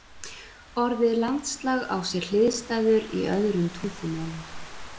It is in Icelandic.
Orðið landslag á sér hliðstæður í öðrum tungumálum.